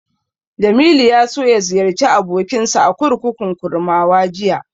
Jamilu ya so ya ziyarci abokinsa a kurkukun Kurmawa jiya.